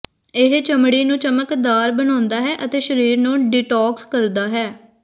ਇਹ ਚਮੜੀ ਨੂੰ ਚਮਕਦਾਰ ਬਣਾਉਂਦਾ ਹੈ ਅਤੇ ਸ਼ਰੀਰ ਨੂੰ ਡੀਟੌਕਸ ਕਰਦਾ ਹੈ